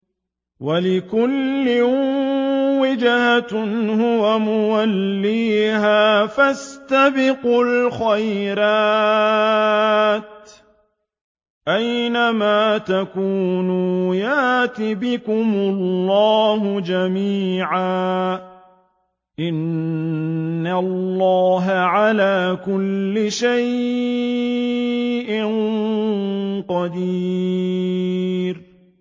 وَلِكُلٍّ وِجْهَةٌ هُوَ مُوَلِّيهَا ۖ فَاسْتَبِقُوا الْخَيْرَاتِ ۚ أَيْنَ مَا تَكُونُوا يَأْتِ بِكُمُ اللَّهُ جَمِيعًا ۚ إِنَّ اللَّهَ عَلَىٰ كُلِّ شَيْءٍ قَدِيرٌ